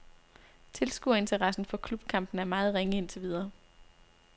Tilskuerinteressen for klubkampene er meget ringe indtil videre.